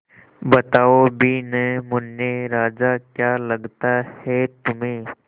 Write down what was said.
बताओ भी न मुन्ने राजा क्या लगता है तुम्हें